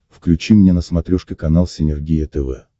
включи мне на смотрешке канал синергия тв